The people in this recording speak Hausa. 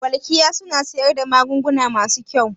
Welkiya suna siyar da magunguna masu kyau?